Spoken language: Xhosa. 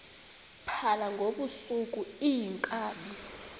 phala ngobusuku iinkabi